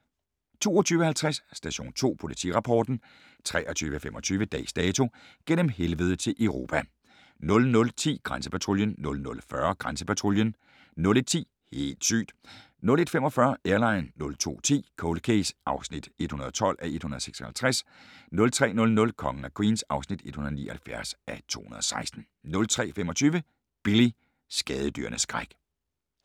22:50: Station 2 Politirapporten 23:25: Dags Dato: Gennem Helvede til Europa 00:10: Grænsepatruljen 00:40: Grænsepatruljen 01:10: Helt sygt! 01:45: Airline 02:10: Cold Case (112:156) 03:00: Kongen af Queens (179:216) 03:25: Billy – skadedyrenes skræk